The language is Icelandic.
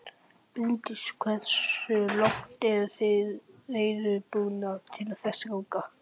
Bryndís: Hversu langt eruð þið reiðubúnir til þess að ganga?